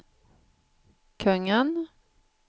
kungen